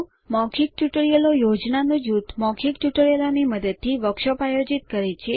મૌખિક ટ્યુટોરિયલોનું જૂથ મૌખિક ટ્યુટોરિયલોની મદદથી વર્કશોપ આયોજિત કરે છે